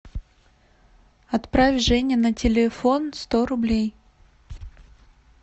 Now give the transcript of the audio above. отправь жене на телефон сто рублей